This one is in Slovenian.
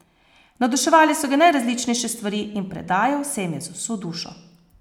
Navduševale so ga najrazličnejše stvari in predajal se jim je z vso dušo.